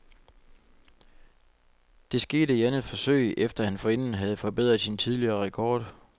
Det skete i andet forsøg, efter at han forinden havde forbedret sin tidligere rekord.